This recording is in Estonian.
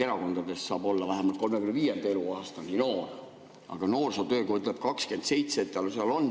Erakondades saab olla vähemalt 35. eluaastani noor, aga noorsootöö seadus ütleb, et 27.